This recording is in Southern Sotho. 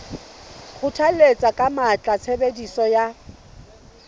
kgothalletsa ka matla tshebediso ya